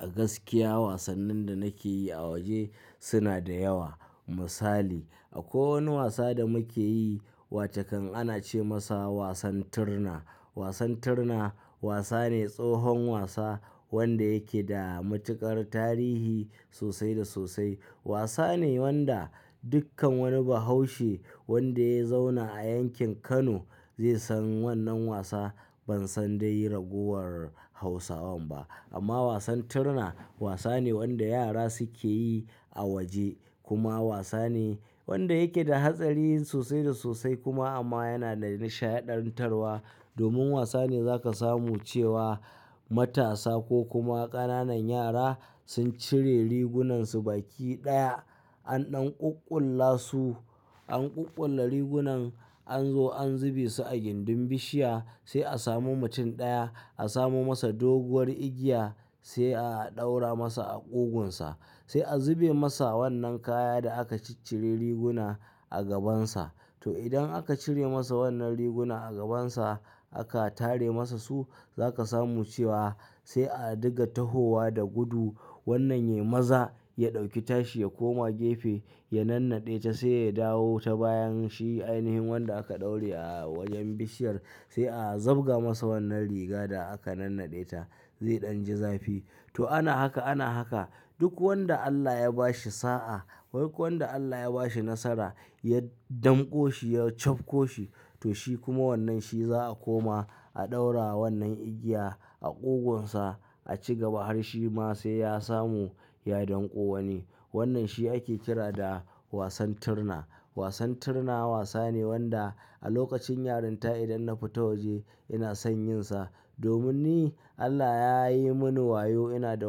A gaskiya wasannin da nake yi a waje suna da yawa. Misali, akwai wani wasa da muke yi wa takan ana ce masa wasan tirna. Wasan tirna wasa ne, tsohon wasa wanda yake da matuƙar tarihi sosai da sosai. Wasa ne wanda dukkan wani bahaushe wanda ya zauna a yankin Kano zai san wannan wasa. Ban san dai raguwar hausawan ba amma wasan tirna wasa ne wanda yara suke yi a waje kuma wasa ne wanda yake da hatsari sosai da sosai kuma amma yana da nishaɗantarwa domin wasa ne za ka samu cewa matasa ko kuma ƙananan yara sun cire rigunansu baki ɗaya an ɗan ƙuƙƙula su, an ƙuƙƙula rigunan an zo an zube su a gindin bishiya sai a samu mutum ɗaya a samo masa doguwar igiya sai a ɗaura masa a ƙugunsa sai a zube masa wannan kaya da aka ciccire riguna a gabansa. To idan aka cire masa wannan riguna a gabansa aka tare masa su za ka samu cewa sai a diga tahowa da gudu wannan yai maza ya ɗauki tashi ya koma gefe ya nannade ta sai ya dawo ta bayan shi ainihin wanda aka ɗaura a wajen bishiyar sai a zabga masa wannan riga da aka nannade ta zai ɗanji zafi. To ana haka, ana haka duk wanda Allah ya ba shi sa'a, duk wanda Allah ya ba shi nasara ya danko shi, ya cafko shi to shi kuma wannan shi za a koma a ɗaura wannan igiya a ƙugunsa a ci gaba har shi ma sai ya samu ya danko wani. Wannan shi ake kira da wasan tirna. Wasan tirna wasa ne wanda a lokacin yarinta idan na fita waje ina son yin sa domin ni Allah ya yi mini wayo ina da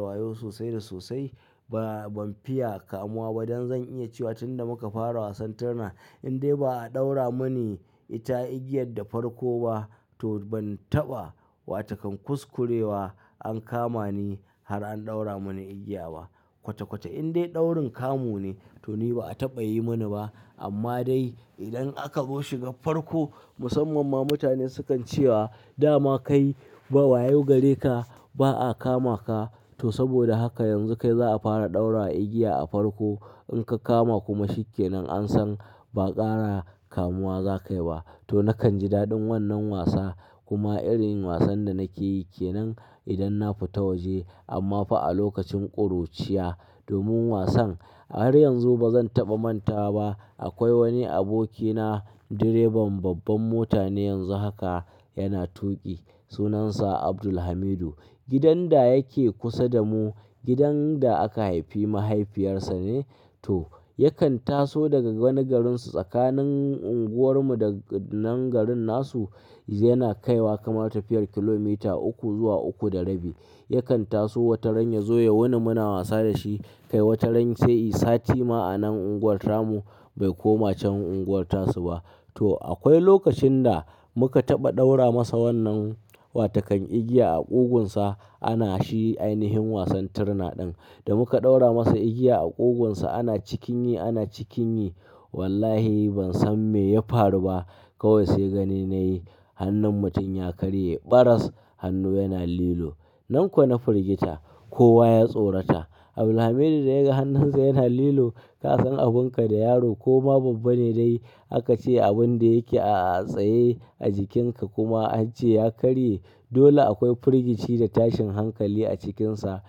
wayo sosai da sosai ba, ban fiya kamuwa ba dan zan iya cewa tunda muka fara wasan tirna in dai ba a ɗaura muni ita igiyar da farko ba to ban taɓa wa takan kuskurewa an kama ni har an ɗaura muni igiya ba. Kwace kwace in dai ɗaurin kamu ne to ni ba a taɓa yi mani ba amma dai idan aka rushe ga farko musamman ma mutane sukan cewa dama ka yi ba wayo gare ka ba a kama ka to saboda haka yanzu kai za a fara ɗaura igiya a farko in ka kama kuma shi kenan an san ba ƙara kamuwa za ka yi ba. To na kanji daɗin wannan wasa kuma irin wasan da nake yi kenan idan na fita waje amma fa a lokacin ƙuruciya domin wasan har yanzu ba zan taɓa mantawa ba. Akwai wani abokina direban babbar mota ne yanzu haka yana tuƙi. Sunan sa abdulhamidu. Gidan dayake kusa damu. Gidan da aka haufi mahaifiyarsa ne Tom yakan taso daga wani garisu. Tsakanin anguwarmu da wannan unguwar nasu yana kai wa kamar tafiyar kilomita uku zuwa uku da rabi. Yakan taso wataran ya zo ya wuni muna wasa da shi kai wataran sai sati ma a nan unguwar mu bai koma can unguwar su ba. To akwai lokacin da muka taɓa ɗaura masa wannan wa takan igiya a ƙugunsa ana shi ainihin wasan tirna ɗin da muka ɗaura masa igiya a ƙugunsa ana cikin yi, ana cikin yi wallahi ban san me ya faru ba kawai sai gani na yi hannun mutum ya karye, ɓaras hannu yana lilo. Nan kuwa na firgita kowa ya tsorata. Abdulhamidu da ya ga hannunsa yana lilo ka san abun ka da yaro ko ma babba ne dai aka ce abun da yake a tsaye a jikinka kuma an ce ya karye dole akwai firgici da tashin hankali a cikinsa.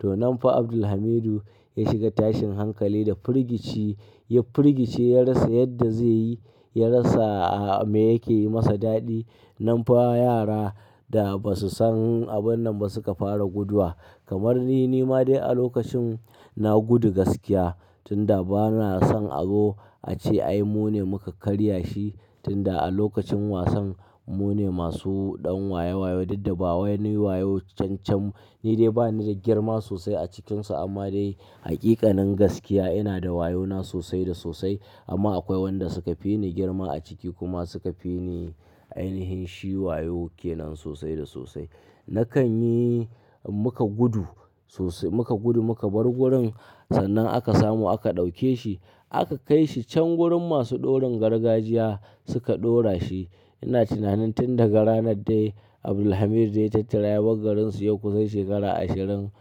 To nan fa Abdulhamidu ya shiga tashin hankali da firgici. Ya firgice, ya rasa mai zeyi, yara sa me ke mai daɗi. Nan fa yara da ba su san abun nan ba suka fara guduwa kamar ni, ni ma dai a lokacin na gudu gaskiya tunda bana son azo a ce ai mu ne muka karya shi tunda a lokacin wasan mu ne masu ɗan waye wayo, daddabawa ne wayo cancam ni dai bani da girma sosai a cikinsa amma dai haƙiƙanin gaskiya ina da wayona sosai da sosai amma akwai wanda suka fi ni girma a ciki kuma suka fi ni ainihin shi wayo kenan sosai da sosai. Na kan yi muka gudu sosai, muka gudu muka bar wurin. Sannan aka samu aka dauke shi. Aka kaishi can gurin masu ɗaurin gargajiya suka ɗaura shi ina tunanin tun daga ranar dai Abdulhamidu da ya tattara yabar garin su yau kusan shekara ashirin.